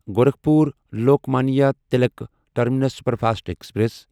Gorakhpur Lokmanya Tilak terminus superfast express